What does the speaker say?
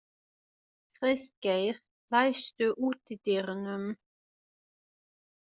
Kristgeir, læstu útidyrunum.